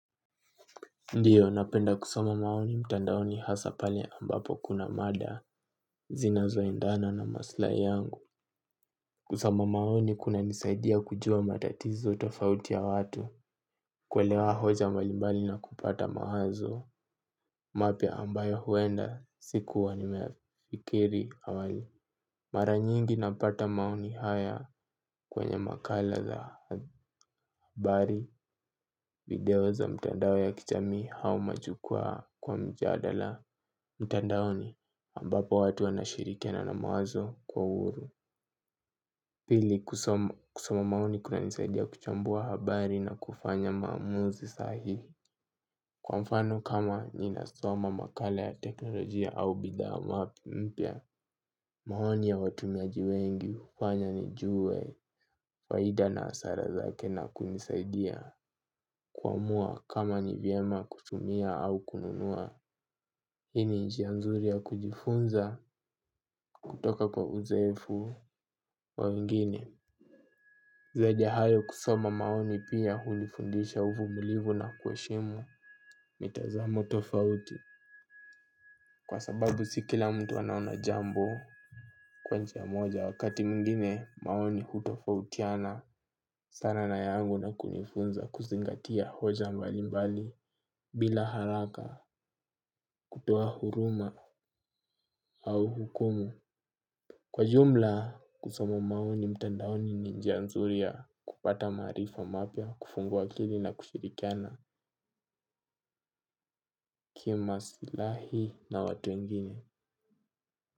Ndiyo napenda kusoma maoni mtandaoni hasa pale ambapo kuna mada zinazoendana na maslahi yangu kusoma maoni kunanisaidia kujua matatizo tofauti ya watu. Kuelewa hoja mbalimbali na kupata mawazo mapya ambayo huenda sikuwa nimeyafikiri awali. Mara nyingi napata maoni haya kwenye makala za habari video za mtandao ya kichami hau majukwaa kwa mjadala. Mtandaoni ambapo watu wanashirikena na mawazo kwa uhuru. Pili kusoma maoni kunanisaidia kuchambua habari na kufanya maamuzi sahihi. Kwa mfano kama ninasoma makala ya teknolojia au bidhaa mapi mpya. Mahoni ya watumiaji wengi hufanya nijue faida na hasara zake na kunisaidia kuamua kama ni vyema kutumia au kununua. Hii ni njia nzuri ya kujifunza kutoka kwa uzoefu wa wengine. Zaidi ya hayo kusoma maoni pia hunifundisha uvumulivu na kuheshimu mitazamo tofauti. Kwa sababu si kila mtu anaona jambo kwa njia moja wakati mwingine maoni hutofautiana sana na yangu na kunifunza kuzingatia hoja mbalimbali bila haraka kutoa huruma au hukumu. Kwa jumla, kusoma maoni mtandaoni ni njia nzuri ya kupata maarifa mapya kufungua akili na kushirikiana ki masilahi na watu wengini.